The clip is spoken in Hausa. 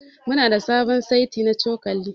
Muna da sabon seti na cokali.